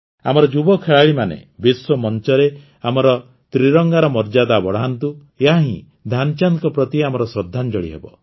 ଆମର ଯୁବ ଖେଳାଳିମାନେ ବିଶ୍ୱମଂଚରେ ଆମର ତ୍ରିରଙ୍ଗାର ମର୍ଯ୍ୟାଦା ବଢ଼ାନ୍ତୁ ଏହାହିଁ ଧ୍ୟାନଚାନ୍ଦଙ୍କ ପ୍ରତି ଆମର ଶ୍ରଦ୍ଧାଞ୍ଜଳି ହେବ